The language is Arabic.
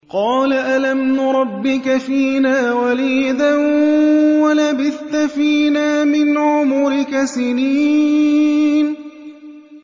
قَالَ أَلَمْ نُرَبِّكَ فِينَا وَلِيدًا وَلَبِثْتَ فِينَا مِنْ عُمُرِكَ سِنِينَ